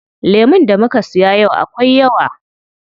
Lemun da muka siya yau akwai yawa.